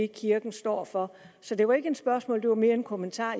kirken står for så det var ikke et spørgsmål men det var mere en kommentar